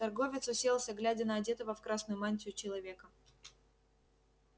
торговец уселся глядя на одетого в красную мантию человека